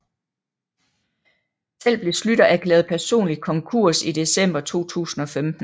Selv blev Schlüter erklæret personlig konkurs i december 2015